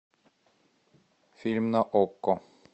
фильм на окко